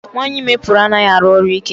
Nwaanyị ime pụrụ anaghị arụ ọrụ ike.